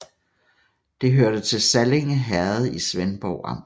Det hørte til Sallinge Herred i Svendborg Amt